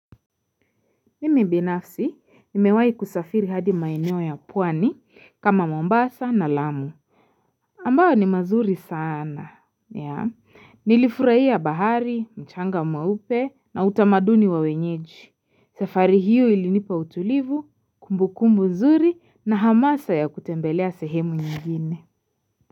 Mimi binafsi, nimewahi kusafiri hadi maeneo ya pwani kama mombasa na lamu. Ambayo ni mazuri sana. Yeah, nilifurahia bahari, mchanga mweupe na utamaduni wa wenyeji. Sefari hiyo ilinipa utulivu, kumbu kumbu mzuri na hamasa ya kutembelea sehemu nyingine.